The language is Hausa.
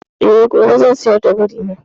Eh, gobe zan sayar da biri na.